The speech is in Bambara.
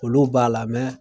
Olu b'a la